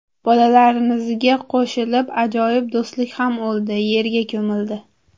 Bolalarimizga qo‘shilib ajoyib do‘stlik ham o‘ldi, yerga ko‘mildi.